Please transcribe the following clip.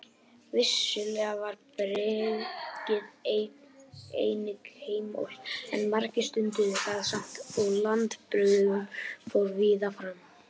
Vissulega var bruggið einnig óheimilt en margir stunduðu það samt og landabruggun fór víða fram.